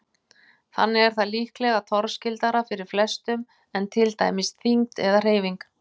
Þannig er það líklega torskildara fyrir flestum en til dæmis þyngd eða hreyfing.